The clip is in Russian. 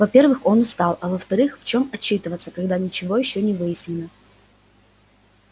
во-первых он устал а во-вторых в чем отчитываться когда ничего ещё не выяснено